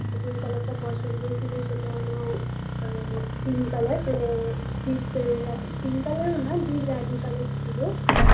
যেই colour -টা পছন্দ ছিল সেটা হল আ pink colour আ ম deep pink colour -ও নয় deep রানী colour ছিল